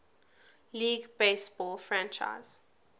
league baseball franchise